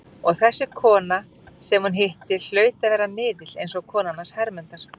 Og þessi kona sem hún hitti hlaut að vera miðill, eins og konan hans Hermundar.